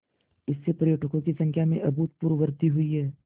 इससे पर्यटकों की संख्या में अभूतपूर्व वृद्धि हुई है